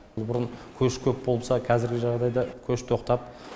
бұрын көш көп болса қазіргі жағыдайда көш тоқтап